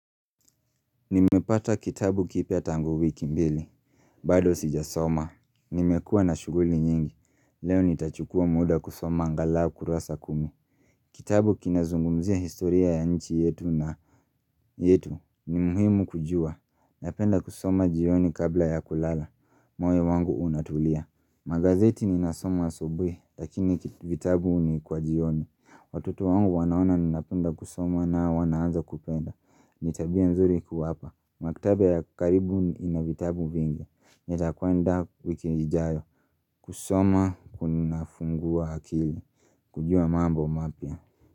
Nimepata kitabu kipya tangu wiki mbili bado sijasoma Nimekuwa na shuguli nyingi Leo nitachukua muda kusoma angalau kurasa kumi Kitabu kinazungumzia historia ya nchi yetu na yetu ni muhimu kujua Napenda kusoma jioni kabla ya kulala moyo wangu unatulia Magazeti ninasoma asubuhi Lakini vitabu ni kwa jioni Watoto wangu wanaona ninapenda kusoma nao wanaanza kupenda Nitabia nzuri kuwapa Mwaktaba ya karibu inavitabu vingi Nitakwenda wiki ijayo kusoma kunafungua akili kujua mambo mapya.